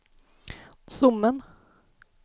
Sommen